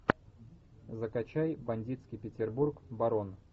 закачай бандитский петербург барон